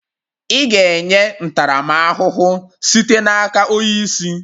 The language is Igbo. Ị ga-enye ntaramahụhụ sitere n'aka onye isi